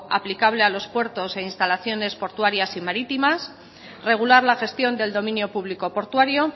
aplicable a los puertos e instalaciones portuarias y marítimas regular la gestión del dominio público portuario